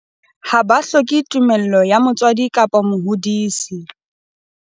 Ha ba hloke tumello ya motswadi kapa mohodisi.